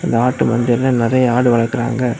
ஒரு ஆட்டு மந்தையில நிறைய ஆடு வளர்க்கறாங்க.